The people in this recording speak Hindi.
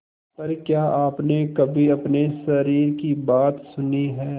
पर क्या आपने कभी अपने शरीर की बात सुनी है